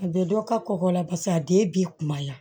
A bɛ dɔ ka kɔkɔ la paseke a den b'i kumaya